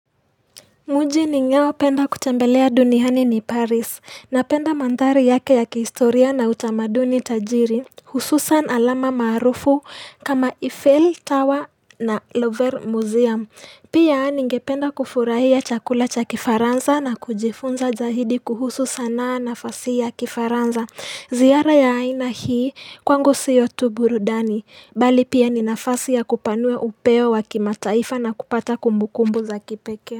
Mjini ninaopenda kutembelea duniani ni Paris, napenda mandhari yake ya kihistoria na utamaduni tajiri, hususan alama maarufu kama Eiffel Tower na Lover Museum. Pia ningependa kufurahia chakula cha kifaransa na kujifunza zaidi kuhusu sanaa na fasihi ya kifaransa. Ziara ya aina hii kwangu sio tu burudani kupanua upeo wakimataifa na kupata kumbukumbu za kipekee.